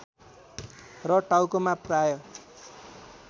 र टाउकोमा प्राय